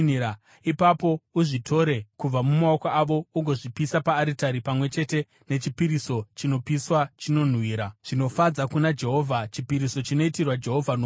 Ipapo uzvitore kubva mumaoko avo ugozvipisa paaritari pamwe chete nechipiriso chinopiswa chinonhuhwira zvinofadza kuna Jehovha, chipiriso chinoitirwa Jehovha nomoto.